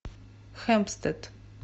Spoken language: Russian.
хэмпстед